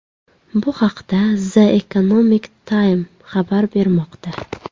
Bu haqda The Economic Time xabar bermoqda .